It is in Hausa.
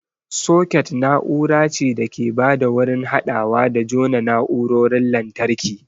Soket na'ura ce da ke ba da wurin haɗawa da jona na'urarorin lantarki.